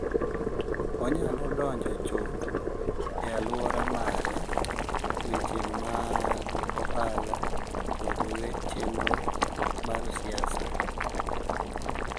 Onyalo donjo chuth e alwora mare, weche mag ohala, kod chenro mar siasa,